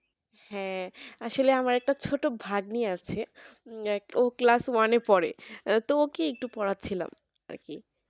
হ্যাঁ আসলে আমার একটা ছোট ভাগ্নি আছে ও class one এ পড়েআহ তো ওকে একটু পোড়াচ্ছিলাম আরকি